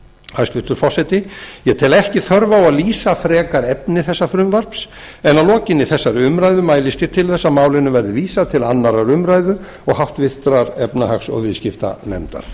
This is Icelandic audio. hæstvirtur forseti ég tel ekki þörf á að lýsa frekar efni frumvarpsins en að lokinni þessari umræðu mælist ég til þess að málinu verði vísað til annarrar umræðu og háttvirtrar efnahags og viðskiptanefndar